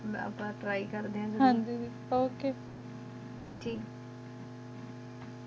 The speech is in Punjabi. ਠੇਆਕ ਅਪ੍ਪਨ ਟ੍ਰੀ ਕਰਦਾਂ ਹਨ ਜੀ ਜੀ ਓਕ